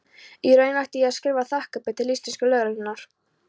Í raun ætti ég að skrifa þakkarbréf til íslensku lögreglunnar.